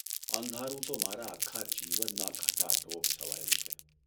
અંધારૂ તો મારા આખા જીવનમાં ઘટાટોપ છવાયું છે.